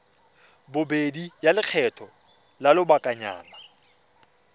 bobedi ya lekgetho la lobakanyana